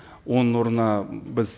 оның орнына біз